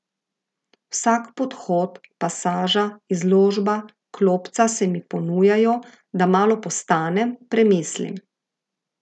Vsak podhod, pasaža, izložba, klopca se mi ponujajo, da malo postanem, premislim.